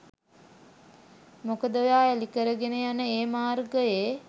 මොකද ඔයා එලිකරගෙන යන ඒ මාර්ගයේ